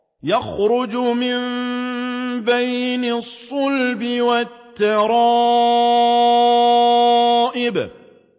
يَخْرُجُ مِن بَيْنِ الصُّلْبِ وَالتَّرَائِبِ